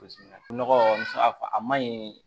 Nɔgɔ muso a ma ɲi